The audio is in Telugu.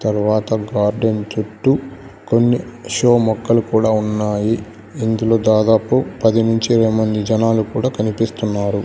తరవాత గార్డెన్ చుట్టూ కొన్ని షో మొక్కలు కూడా ఉన్నాయి ఇందులో దాదాపు పది నుంచి ఇరవై మంది జనాలు కూడా కనిపిస్తున్నారు.